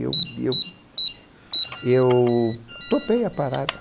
Eu eu eu topei a parada.